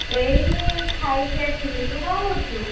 ଏଇ ଖାଇକି ଆସିଲି, ତୁ କଣ କରୁଛୁ?